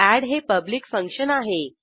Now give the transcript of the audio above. add हे public function आहे